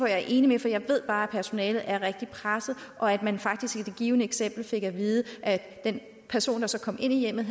jeg er enig i for jeg ved bare at personalet er rigtig presset og at man faktisk i det givne eksempel fik at vide at den person der så kom ind i hjemmet